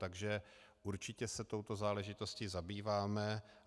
Takže určitě se touto záležitostí zabýváme.